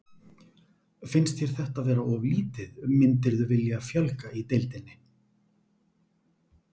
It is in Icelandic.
Finnst þér þetta vera of lítið, myndirðu vilja fjölga í deildinni?